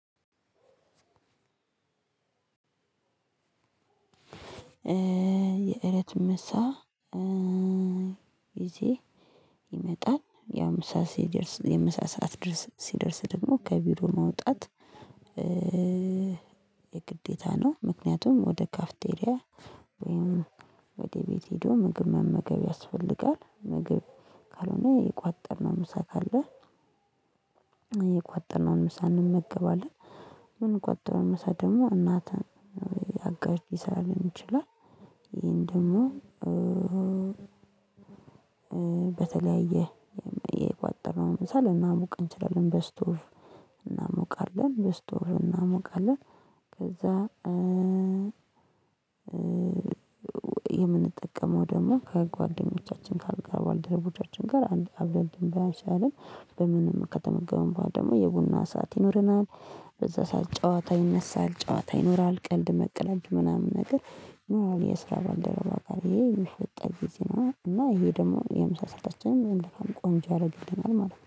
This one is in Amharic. የእራት የምሳ ጊዜ ይመጣል፤ ያው ምሳ ሲደርስ፣ የምሳ ሰዓት ሲደርስ ደግሞ ከቢሮ መውጣት የግዴታ ነው፤ ምክንያቱም ወደ ካፌቴሪያ ወይም ወደ ቤት ሄዶ ምግብ መመገብ ያስፈልጋል። ምግብ ካልሆነ፣ የቋጠርነው ምሳ ካለ የቋጠርነውን ምሳ እንመገባለን፤ ምን ቋጥረህ መሰለህ? ደግሞ እናት፣ አጋዥ ሊሠራልን ይችላል፤ ይህን ደግሞ በተለያየ መንገድ የቋጠርነውን ምሳ ልናሞቅ እንችላለን፤ በስቶቭ እናሞቃለን፣ በስቶቭ እናሞቃለን፤ ከዚያ የምንጠቀመው ደግሞ ከጓደኞቻችን፣ ከባልደረቦቻችን ጋር አብረን እንበላለን፤ በጋራ ከተመገብን በኋላ ደግሞ የቡና ሰዓት ይኖረናል። በዚያ ሰዓት ጨዋታ ይነሳል፤ ጨዋታ ይኖራል፣ ቀልድ መቅለድ ምናምን ነገር ይኖራል፤ ከስራ ባልደረባ ጋር ይህ ይህ የሚፈጠርበት ጊዜ ነው። እና ይህ ደግሞ የምሳ ሰአታችንን ቆንጆ ያደርገዋል ማለት ነው።